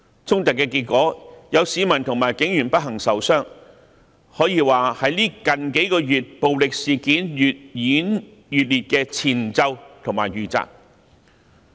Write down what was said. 衝突的結果是有市民及警員不幸受傷，可說是最近數月暴力事件越演越烈的前奏及預習。